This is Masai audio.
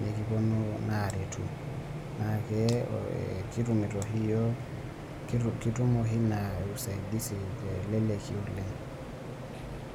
nekipuonu naa aretu. Naakee kitumito oshi yiook , kitum oshi ina usaidisi teleleki oleng'.